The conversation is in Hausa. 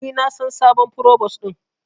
Ni na san sabon provos din.